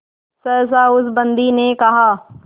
सहसा उस बंदी ने कहा